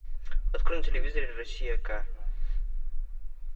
открой на телевизоре россия к